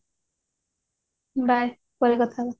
bye ପରେ କଥା ହେବା